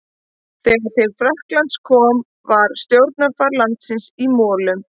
Þegar til Frakklands kom var stjórnarfar landsins í molum.